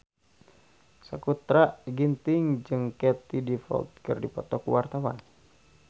Sakutra Ginting jeung Katie Dippold keur dipoto ku wartawan